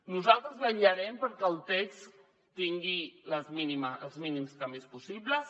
nosaltres vetllarem perquè el text tingui els mínims canvis possibles